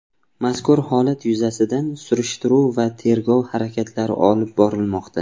Mazkur holat yuzasidan surishtiruv va tergov harakatlari olib borilmoqda.